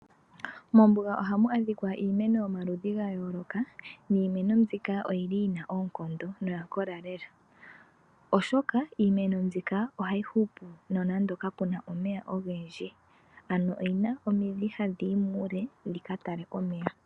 Mombuga ohamu adhika iimeno yomaludhi ga yooloka, niimeno mbika oyili yina oonkondo noya kola lela. Oshoka iimeno mbika ohayi hupu nonando ka puna omeya ogendji, ano oyina omidhi hadhiyi muule dhika tale omeya.